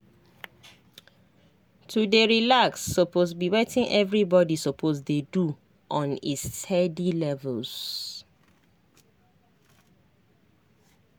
to dey relax suppose be wetin everybody suppose dey do on a steady levels